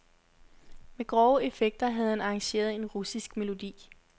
Med grove effekter havde han arrangeret en russisk melodi.